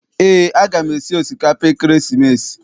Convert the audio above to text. Eé, a gam esi osikapa ekeresimesi.